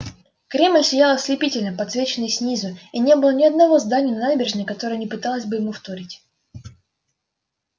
кремль сиял ослепительно подсвеченный снизу и не было ни единого здания на набережной которое не пыталось бы ему вторить